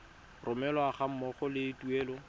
romelwa ga mmogo le tuelo